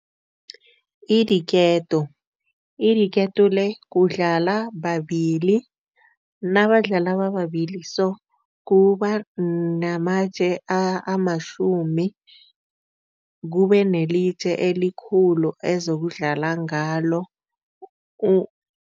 I-diketo. I-diketo le kudlala babili, nabadlala bababili so kuba namatje amatjhumi kubenelitje elikhulu ezokudlala ngalo